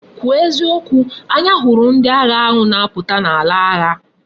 Kwu o eziokwu! anya huru ndi agha ahu na aputa na ala agha!